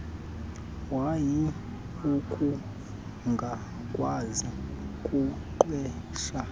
woyika ukungakwazi kuqhwesha